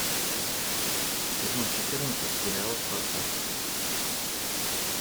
сезон четырнадцать сериал спартак